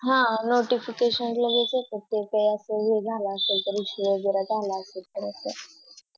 हा Notificaton लगेच येतात कि ते काय वेळ झाला असले तर वैगेरे झाला असेल तर असं